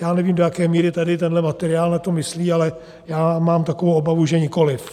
Já nevím, do jaké míry tady tenhle materiál na to myslí, ale já mám takovou obavu, že nikoliv.